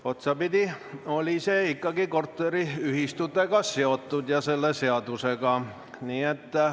Otsapidi oli see ikkagi korteriühistute ja selle seadusega seotud.